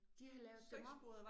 De har lavet dem om